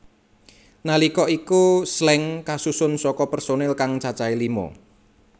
Nalika iku Slank kasusun saka personil kang cacahé lima